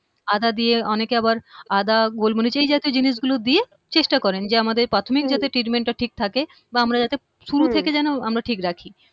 আদা দিয়ে অনেকে আবার আদা গোল মরিচ এই জাতীয় জিনিসগুলো দিয়ে চেষ্টা করেন যে আমাদের প্রাথমিক যদি হম treatment টা ঠিক থাকে বা আমরা যাতে হম শুরুর দিকে যেন আমরা ঠিক রাখি